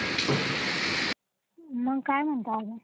मग काय म्हणतो आणि?